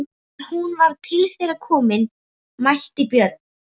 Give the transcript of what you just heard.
Þegar hún var til þeirra komin mælti Björn: